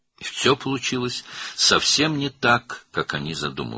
Hər şey onların düşündüyü kimi getmədi.